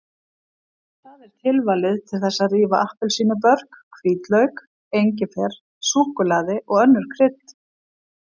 Það er tilvalið til þess að rífa appelsínubörk, hvítlauk, engifer, súkkulaði og önnur krydd.